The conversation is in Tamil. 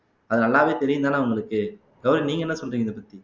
அது நல்லாவே தெரியும்தானே உங்களுக்கு கௌரி நீங்க என்ன சொல்றீங்க இதைப்பத்தி